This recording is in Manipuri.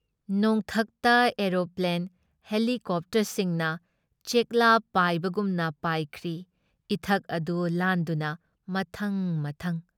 ꯅꯣꯡꯊꯛꯇ ꯑꯦꯔꯣꯄ꯭ꯂꯦꯟ, ꯍꯦꯂꯤꯀꯣꯞꯇꯔꯁꯤꯡꯅ ꯆꯦꯛꯂꯥ ꯄꯥꯏꯕꯒꯨꯝ ꯄꯥꯏꯈ꯭ꯔꯤ ꯏꯊꯠ ꯑꯗꯨ ꯂꯥꯟꯗꯨꯅ ꯃꯊꯪ ꯃꯊꯪ ꯫